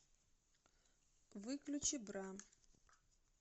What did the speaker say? выключи бра